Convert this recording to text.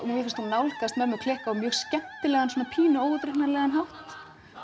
mér finnst hún nálgast mömmu klikk á mjög skemmtilegan pínu óútreiknanlegan hátt